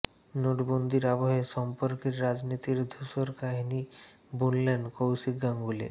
নোটবন্দির আবহে সম্পর্কের রাজনীতির ধূসর কাহিনি বুনলেন কৌশিক গাঙ্গুলি